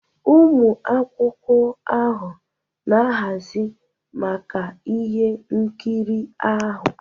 ụmụ akwụkwọ ahụ na-ahazi maka ihe nkiri ahụ